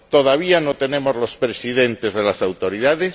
Todavía no tenemos presidentes de las autoridades